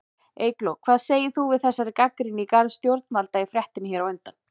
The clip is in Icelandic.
Eygló, hvað segir þú við þessari gagnrýni í garð stjórnvalda í fréttinni hér á undan?